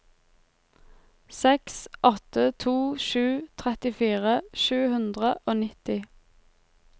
seks åtte to sju trettifire sju hundre og nitti